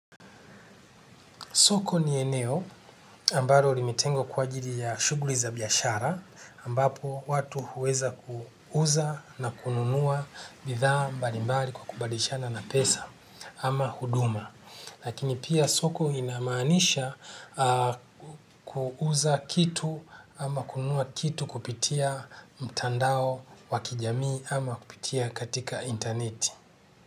Soko ni eneo ambalo limetengwa kwa ajili ya shughuli za biashara ambapo watu huweza kuuza na kununua bidhaa mbalimbali kwa kubadilishana na pesa ama huduma. Lakini pia soko inamaanisha kuuza kitu ama kununua kitu kupitia mtandao wa kijamii ama kupitia katika interneti.